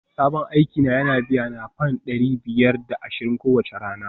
Sabon aiki na yana biyana fam dari biyar da ashirin kowace rana